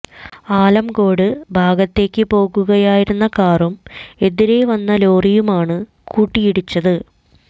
ആലംകോട് ഭാഗത്തേക്ക് പോകുകയായിരുന്ന കാറും എതിരെ വന്ന ലോറിയുമാണ് കൂട്ടയിടിച്ചത്